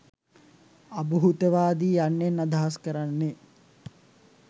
අභූතවාදී යන්නෙන් අදහස් කරන්නේ